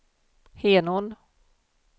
Henån